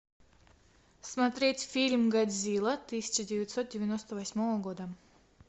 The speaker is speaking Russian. смотреть фильм годзилла тысяча девятьсот девяносто восьмого года